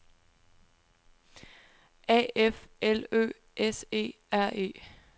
A F L Ø S E R E